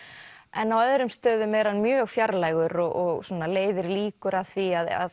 en á öðrum stöðum er hann mjög fjarlægur og svona leiðir líkur að því að